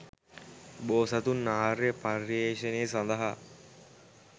බෝසතුන් ආර්ය පර්යේෂණය සඳහා